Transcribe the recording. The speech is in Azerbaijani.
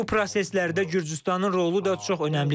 Bu proseslərdə Gürcüstanın rolu da çox önəmlidir.